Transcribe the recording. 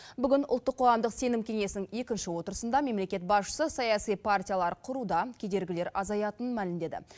бүгін ұлттық қоғамдық сенім кеңесінің екінші отырысында мемлекет басшысы саяси партиялар құруда кедергілер азаятынын мәлімдеді